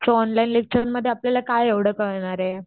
So online लेक्चरमध्ये आपल्याला काय एव्हडं कळणारे.